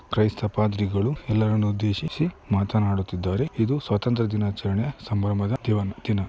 ಕ್ರೈಸ್ತ ಪಾದ್ರಿಗಳು ಎಲ್ಲರನ್ನು ಉದ್ದೇಶಿಸಿ ಮಾತನಾಡುತಿದ್ಹಾರೆ ಇದು ಸ್ವಾತಂತ್ರ್ಯ ದಿನಾಚರಣೆಯ ಸಂಭ್ರಮದ ತೆವನ್ ದಿನ.